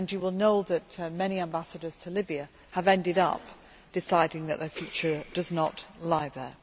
You will know that many ambassadors to Libya have ended up deciding that their future does not lie there.